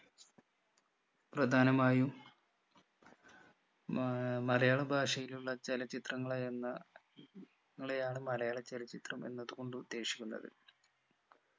പ്രധാനമായും മാ ഏർ മലയാള ഭാഷയിലുള്ള ചലച്ചിത്രങ്ങളെയെന്ന യാണ് മലയാളചലച്ചിത്രം എന്നതുകൊണ്ട് ഉദ്ദേശിക്കുന്നത്